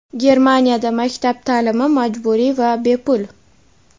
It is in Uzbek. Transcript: Germaniyada maktab taʼlimi majburiy va bepul.